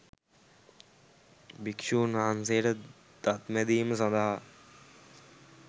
භික්‍ෂූන් වහන්සේට දත් මැදීම සඳහා